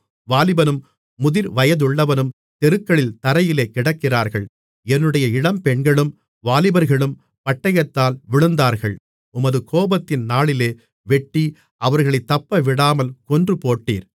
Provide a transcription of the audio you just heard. வாலிபனும் முதிர்வயதுள்ளவனும் தெருக்களில் தரையிலே கிடக்கிறார்கள் என்னுடைய இளம்பெண்களும் வாலிபர்களும் பட்டயத்தால் விழுந்தார்கள் உமது கோபத்தின் நாளிலே வெட்டி அவர்களைத் தப்பவிடாமல் கொன்றுபோட்டீர்